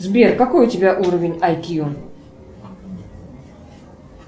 сбер какой у тебя уровень ай кью